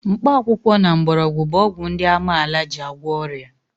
Mkpakwụkwọ na mgbọrọgwụ bụ ọgwụ ndị amaala ji agwọ ọrịa.